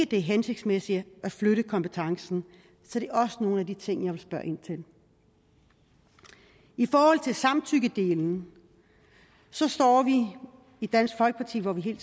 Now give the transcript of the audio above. det er hensigtsmæssigt at flytte kompetencen så det er også nogle af de ting jeg vil spørge ind til i forhold til samtykkedelen står vi i dansk folkeparti hvor vi hele